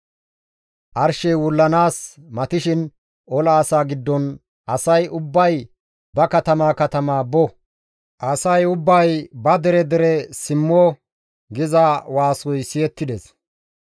Arshey wullanaas matishin ola asaa giddon, «Asay ubbay ba katamaa katamaa bo! Asay ubbay ba dere dere simmo!» giza waasoy siyettides.